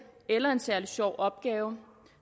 eller en særlig sjov opgave